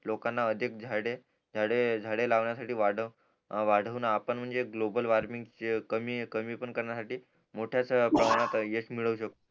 लोकांना अधिक झाडे झाडे लावण्यासाठी वाढवू आणि आपण म्हणजे ग्लोबल वॉर्मिंग कमी कमी पण करण्यासाठी मोठ्यच प्रमाणात यश मिळवू शकतो